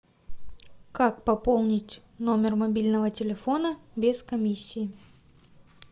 как пополнить номер мобильного телефона без комиссии